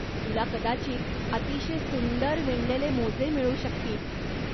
तुला कदाचित अतिशय सुंदर विणलेले मोजे मिळू शकतील.